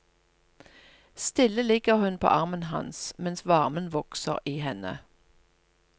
Stille ligger hun på armen hans, mens varmen vokser i henne.